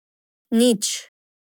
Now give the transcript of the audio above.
Nič.